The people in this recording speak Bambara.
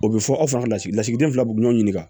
O bɛ fɔ aw fana ka lasigi lasigiden fila b'u ɲɔgɔn ɲininka